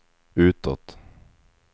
utåt